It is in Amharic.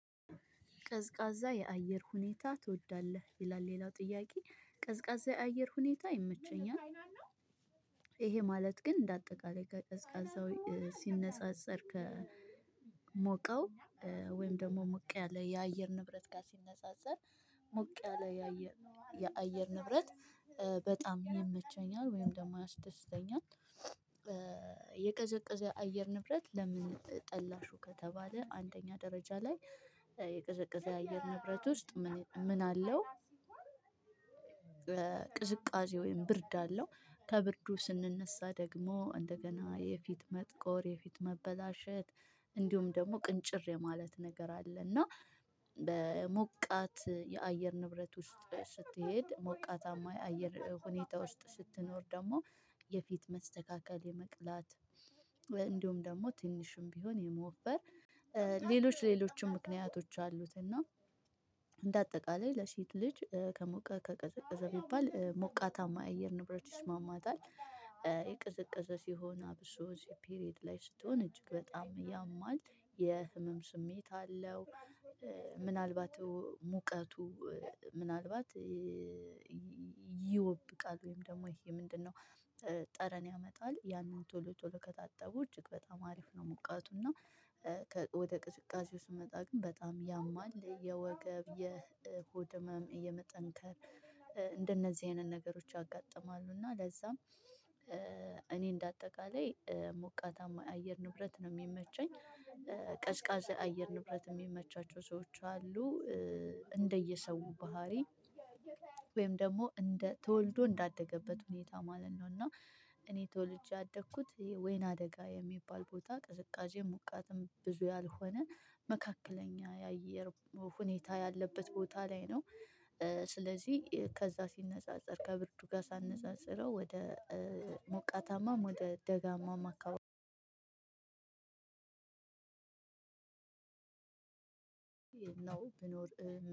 ቀዝቃዛ የአየር ሁኔታ ትወዳለህ? ይላል ሌላው ጥያቄ ቀዝቃዛ የአየር ሁኔታ ይመቸኛል። እሄ ማለት ግን እንደ አጠቃላይ ቀዝቃዛው ሲነጻጸር ከሞቀው ወይም ደግሞ ሞቅ ያለ የአየር ንብረት ጋር ሲነጻጸር ሞቅ ያለ የአየር ንብረት ወይም ደግሞ ሞቅ ያለ የአየር ንብረት ጋር ሲነጻጸር ሞቅ ያለ የአየር ንብረት ቅዝቃዜ ወይም ብርድ አለው ከብርዱ ስንነሳ ደግሞ እንደገና የፊት መጥቆር የፊት መበላሸት እንዲሁም ደግሞ ቅንጭር የማለት ነገር አለ እና በሞቃት የአየር ንብረት ውስጥ ስትሄድ ሞቃታማ የአየር ሁኔታ ውስጥ ስትኖር ደግሞ የፊት መስተካከል የመቅላት እንዲሁም ደግሞ ትንሽም ቢሆን የመወፈር ሌሎች ሌሎችም ምክንያቶች አሉት እና እንደ አጠቃላይ ለሴት ልጅ ከሞቃት ከቀዝቀዛ ቢባል ሞቃታማ አየር ንብረት ይስማማታል የቅዘቅዘ ሲሆን አብሶ ፔሬድ ላይ ስትሆን እጅግ በጣም ያማል የህመም ስሜት አለው ምናልባት ሙቀቱ ምናልባት ይወብቃል ወይም ደግሞ ይሄ ምንድነው ጠረን ያመጣል ያንን ቶሎ ቶሎ ከታጠቡ እጅግ በጣም አሪፍ ነው ሞቃቱና ወደ ቅዝቃዜው ስንመጣ ግን በጣም ያማል የወገብ የሆድ ህመም የመጠንከር እንደነዚህ አይነት ነገሮች ያጋጥማሉ እና ለዛም እኔ እንደ አጠቃላይ ሞቃታማ አየር ንብረት ነው የሚመቸኝ አየር ንብረት የሚመቻቸው ሰዎች አሉ እንደየሰው ባህሪ ወይም ደግሞ እንደ ተወልዶ እንዳደገበት ሁኔታ ማለት ነው እና እኔ ተወልጄ ያደኩት ወይነ-አደጋ የሚባል ቦታ ቅዝቃዜ ሙቃትም ብዙ ያልሆነ መካከለኛ የአየር ሁኔታ ያለበት ቦታ ላይ ነው ስለዚህ ከዛ ሲነጻጸር ከብርዱ ጋር ሳነጻጽረው ወደ ሞቃታማም ወደ ደጋማም አካባቢ ነው ብኖር